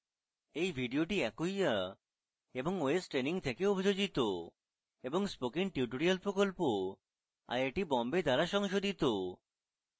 এই video acquia এবং ostraining থেকে অভিযোজিত এবং spoken tutorial প্রকল্প আইআইটি বোম্বে দ্বারা সংশোধিত